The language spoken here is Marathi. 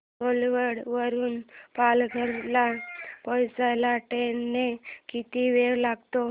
घोलवड वरून पालघर ला पोहचायला ट्रेन ने किती वेळ लागेल